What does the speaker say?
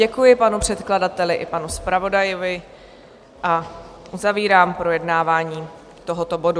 Děkuji panu předkladateli i panu zpravodaji a uzavírám projednávání tohoto bodu.